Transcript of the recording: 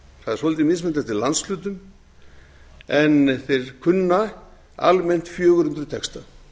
það er svolítið mismunandi eftir landshlutum en þeir kunna almennt fjögur hundruð texta